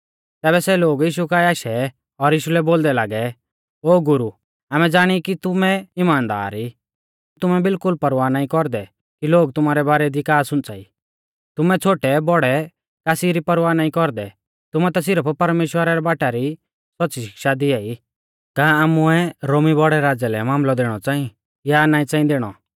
तैबै सै लोग यीशु काऐ आशै और यीशु लै बोलदै लागै ओ गुरु आमै ज़ाणी कि तुमै इमानदार ई तुमै बिल्कुल परवाह नाईं कौरदै कि लोग तुमारै बारै दी का सुंच़ाई तुमै छ़ोटैबौड़ै कासी री परवाह नाईं कौरदै तुमै ता सिरफ परमेश्‍वरा रै बाटा री सौच़्च़ी शिक्षा दिआई का आमुऐ रोमी बौड़ै राज़ै मामलौ दैणौ च़ांई या नाईं च़ांई दैणौ